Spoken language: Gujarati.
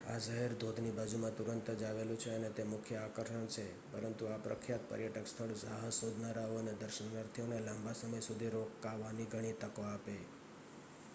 આ શહેર ધોધની બાજુમાં તુરંત જ આવેલું છે અને તે મુખ્ય આકર્ષણ છે પરંતુ આ પ્રખ્યાત પર્યટક સ્થળ સાહસ શોધનારાઓ અને દર્શનાર્થીઓને લાંબા સમય સુધી રોકાવાની ઘણી તકો આપે